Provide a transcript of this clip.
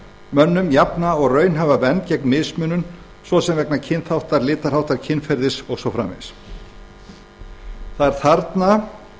mönnum jafna og raunhæfa vernd gegn mismunun svo sem vegna kynþáttar litarháttar kynferðis það er þarna